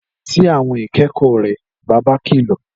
Lọ sí àwọn ìkẹ́kọ̀ọ́ rẹ, bàbá kìlọ̀